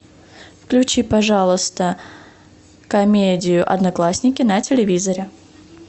включи пожалуйста комедию одноклассники на телевизоре